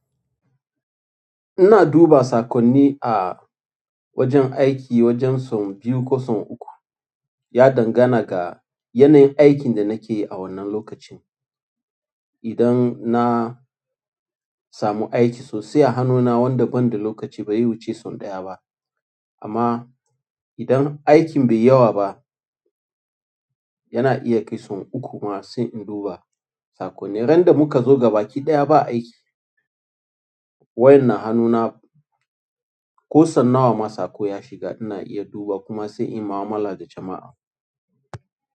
Ina duba saƙonni a wajen aiki wajen sau biyu ko sau uku. Ya dangana ga yanayin aikin da nake yi a wannan lokacin. Idan na samu aiki sosai a hannuna wanda ban da lokaci, ba zai wuce sau ɗaya ba. Amma idan aikin baiyi yawa ba, yana iya kai sau uku ma sai in duba saƙonni. Ran da muka zo gaba ki ɗaya ba aiki, wayan na hanuna ko sau nawa ma saƙo ya shiga, ina iya im duba kuma sai in yi mu'amala da jama'a.